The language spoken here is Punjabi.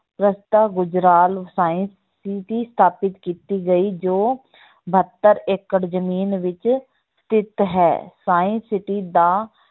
ਗੁਜਰਾਲ science city ਸਥਾਪਿਤ ਕੀਤੀ ਗਈ ਜੋ ਬਹੱਤਰ ਏਕੜ ਜ਼ਮੀਨ ਵਿੱਚ ਸਥਿਤ ਹੈ science city ਦਾ